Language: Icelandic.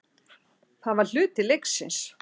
Það var hluti leiksins.